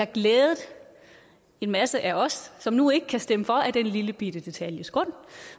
glædet en masse af os som nu ikke kan stemme for af den lillebitte detalje